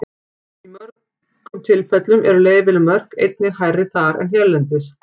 Í mjög mörgum tilfellum eru leyfileg mörk einnig hærri þar en hérlendis.